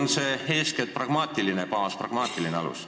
Kas see tuleneb eeskätt pragmaatilistest kaalutlustest?